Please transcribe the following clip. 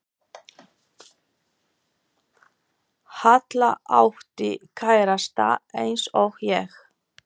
Halla átti kærasta eins og ég.